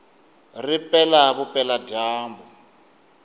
ri pela vupela dyambu